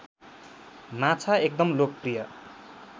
माछा एकदम लोकप्रिय